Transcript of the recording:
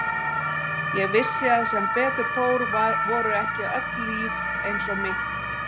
Ég vissi að sem betur fór voru ekki öll líf eins og mitt.